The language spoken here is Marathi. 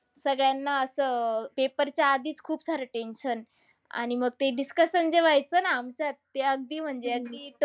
सगळ्यांना असं paper च्या आधीच खूप सारं tension. आणि मग ते discussion जेव्हा व्ह्याचं ना आमच्यात, ते अगदी म्हणजे अगदी